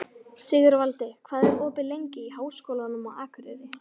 Sigurvaldi, hvað er opið lengi í Háskólanum á Akureyri?